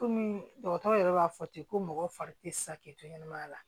Kɔmi dɔgɔtɔrɔ yɛrɛ b'a fɔ ten ko mɔgɔ fari tɛ se k'i to ɲɛnɛmaya la